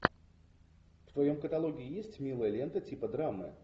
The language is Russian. в твоем каталоге есть милая лента типа драмы